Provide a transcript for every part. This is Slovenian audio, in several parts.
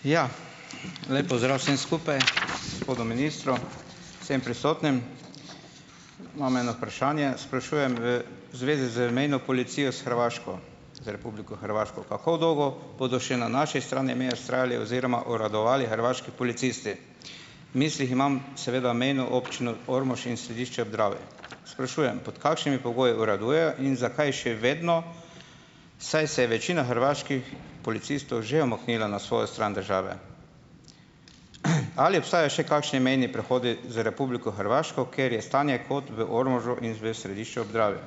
Ja, lep pozdrav vsem skupaj, gospodu ministru, vsem prisotnim. Imam eno vprašanje, sprašujem v zvezi z mejno policijo s Hrvaško, z Republiko Hrvaško. Kako dolgo bodo še na naši strani meje vztrajali oziroma uradovali hrvaški policisti? V mislih imam seveda mejno občino Ormož in Središče ob Dravi. Sprašujem, pod kakšnimi pogoji uraduje in zakaj še vedno, saj se večina hrvaških policistov že umaknila na svojo stran države? Ali obstaja še kakšni mejni prehodi z republiko Hrvaško, kjer je stanje kot v Ormožu in Središču ob Dravi?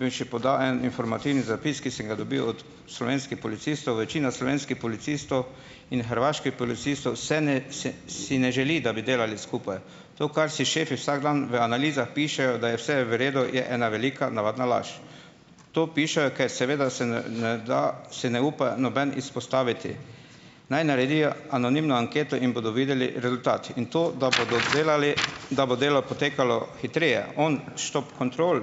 Bi še podal en informativni zapis, ki sem ga dobil od slovenskih policistov - večina slovenskih policistov in hrvaških policistov se ne se, si ne želi, da bi delali skupaj. To, kar si šefi vsak dan v analizah pišejo, da je vse v redu, je ena velika navadna laž. To pišejo, kaj seveda se ne ne da, se ne upa nobeden izpostaviti. Naj naredijo anonimno anketo in bodo videli rezultat in to, da bodo delali, da bo delo potekalo hitreje on štop kontrol,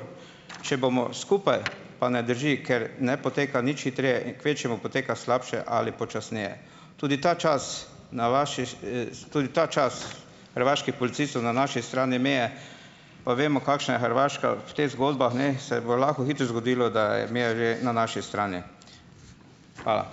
če bomo skupaj, pa ne drži, ker ne poteka nič hitreje, in kvečjemu poteka slabše ali počasneje. Tudi ta čas na vašiš. Tudi ta čas hrvaških policistov na naši strani meje pa vemo, kakšna je Hrvaška v teh zgodbah, ne? Se bo lahko hitro zgodilo, da je imel že na naši strani. Hvala.